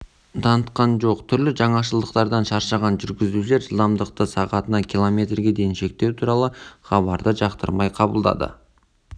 танытқан жоқ түрлі жаңашылдықтардан шаршаған жүргізушілер жылдамдықты сағатына километрге дейін шектеу туралы хабарды жақтырмай қабылдады